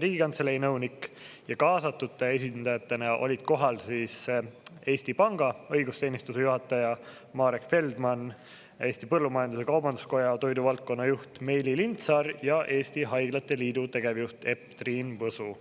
Riigikantselei nõunik ja kaasatute esindajatena olid kohal Eesti Panga õigusteenistuse juhataja Marek Feldman, Eesti Põllumajandus-Kaubanduskoja toiduvaldkonna juht Meeli Lindsaar ja Eesti Haiglate Liidu tegevjuht Epp-Triin Võsu.